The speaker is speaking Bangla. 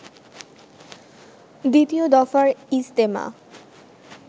দ্বিতীয় দফার ইজতেমা